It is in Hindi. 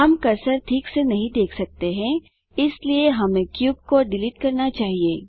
हम कर्सर ठीक से नहीं देख सकते हैं इसलिए हमें क्यूब को डिलीट करना चाहिए